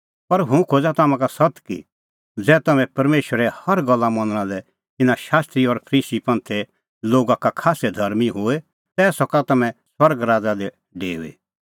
पर हुंह खोज़ा तम्हां का सत्त कि ज़ै तम्हैं परमेशरे हर गल्ला मनणा लै इना शास्त्री और फरीसी लोगा का खास्सै धर्मीं होए तै सका तम्हैं स्वर्ग राज़ा दी डेऊई